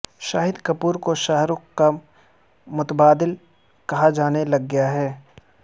شاہد کپور کو شاہ رخ کا متبادل کہا جانے لگ گیا ہے